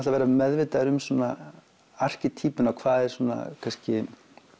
að vera meðvitaður um svona erkitýpuna hvað er svona kannski